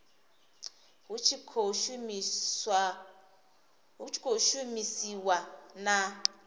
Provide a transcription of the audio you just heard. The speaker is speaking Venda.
hu tshi khou shumisaniwa na